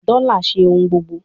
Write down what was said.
Dola ṣe ohun gbogbo